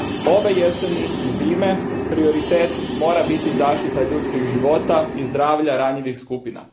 Ove jeseni i zime, prioritet mora biti zaštita ljudskih života i zdravlja ranjivih skupina.